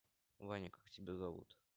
ваня как тебя зовут